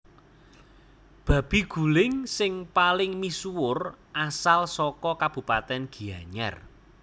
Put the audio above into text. Babi guling sing paling misuwur asal saka kabupatèn Gianyar